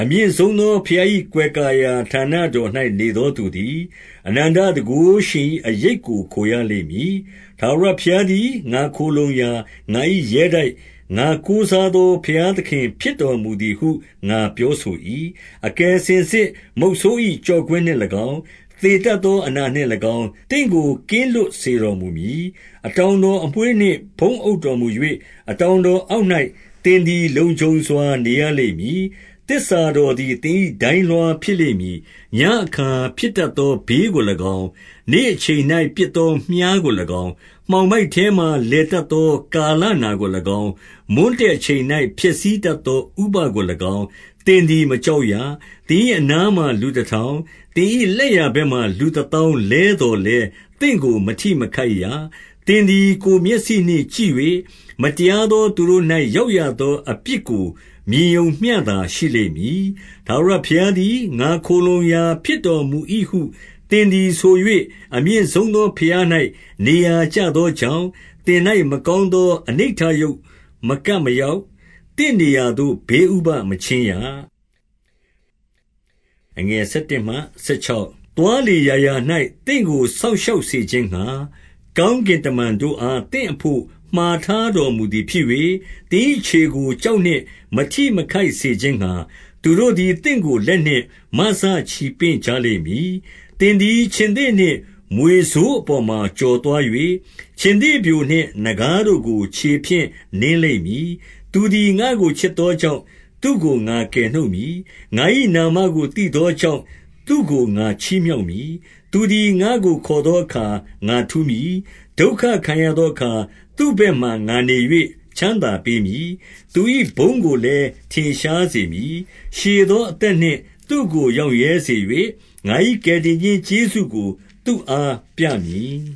အမြင့်ဆုံးသော ဘုရား၏ကွယ်ကာရာဌာန တော်၌ နေသောသူသည် အနန္တတန်ခိုးရှင်၏ အရိပ်ကို ခိုရလိမ့်မည်။ 2 ထာဝရဘုရားသည် ငါခိုလှုံရာ၊ ငါ၏ရဲတိုက်၊ ငါကိုးစားသော ဘုရားသခင်ဖြစ်တော်မူသည်ဟု ငါပြော ဆို၏။ 3 အကယ်စင်စစ် မုဆိုး၏ ကျော့ကွင်းနှင့်၎င်း၊ သေတတ်သောအနာနှင့်၎င်း၊ သင့်ကို ကင်းလွတ်စေတော်မူမည်။ 4 အတောင်တော် အမွေးနှင့်ဖုံးအုပ်တော်မူ၍၊ အတောင်တော်အောက်၌ သင်သည်လုံခြုံစွာ နေရလိမ့်မည်။ သစ္စာတော်သည် သင်၏ ဒိုင်းလွှားဖြစ်လိမ့် မည်။ 5 ညဉ့်အခါဖြစ်တတ်သော ဘေးကို၎င်း၊ နေ့အချိန်၌ ပစ်သောမြှားကို၎င်း၊ 6 မှောင်မိုက်ထဲမှာ လည်တတ်သော ကာလနာကို၎င်း၊ မွန်းတည့်အချိန်၌ ဖျက်ဆီးတတ်သော ဥပဒ်ကို၎င်း၊ သင်သည်မကြောက်ရ။ 7 သင်၏ အနားမှာလူတထောင်၊ သင်၏လက်ျာ ဘက်မှာ လူတသောင်းလဲသော်လည်း၊ သင့်ကို မထိ မခိုက်ရ။ 8 သင်သည် ကိုယ်မျက်စိနှင့် ကြည့်၍၊ မတရား သော သူတို့၌ ရောက်ရသော အပြစ်ကိုမြင်ရုံမျှသာရှိ လိမ့်မည်။ 9 ထာဝရဘုရားသည် ငါခိုလှုံရာဖြစ်တော်မူ၏ဟု သင်သည်ဆို၍၊ အမြင့်ဆုံးသော ဘုရား၌ နေရာကျသော ကြောင့်၊ 10 သင်၌ မကောင်းသော အနိဌရုပ်မကပ် မရောက်။ သင့်နေရာသို့ ဘေးဥပဒ်မချဉ်းရ။ 11 သွားလေရာရာ၌ သင့်ကိုစောင့်ရှောက် စေခြင်း ငှါ၊ ကောင်းကင်တမန်တို့အား သင့်အဘို့မှာ ထားတော် မူသည်ဖြစ်၍၊ 12 သင်၏ခြေကို ကျောက်နှင့် မထိမခိုက်စေခြင်း ငှါ၊ သူတို့သည် သင့်ကို လက်နှင့်မစချီပင့်ကြလိမ့်မည်။ 13 သင်သည် ခြင်္သေ့နှင့်မြွေဆိုးအပေါ်မှာ ကျော် သွား၍၊ ခြင်္သေ့ပျိုနှင့်နဂါးတို့ကို ခြေဖြင့်နင်းလိမ့်မည်။ 14 သူသည် ငါ့ကို ချစ်သောကြောင့်၊ သူ့ကို ငါကယ် နှုတ်မည်။ ငါ၏နာမကို သိသောကြောင့်၊ သူ့ကို ငါချီး မြှောက်မည်။ 15 သူသည် ငါ့ကိုခေါ်သောအခါ ငါထူးမည်။ ဒုက္ခ ခံရသောအခါ သူ့ဘက်မှာ ငါနေ၍ ချမ်းသာပေးမည်။ သူ၏ဘုန်းကိုလည်း ထင်ရှားစေမည်။ 16 ရှည်သောအသက်နှင့် သူ့ကိုရောင့်ရဲစေ၍၊ ငါ၏ ကယ်တင်ခြင်းကျေးဇူးကို သူ့အားပြမည်